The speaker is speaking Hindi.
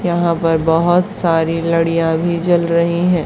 यहां पर बहोत सारी लडीयां भी जल रही है।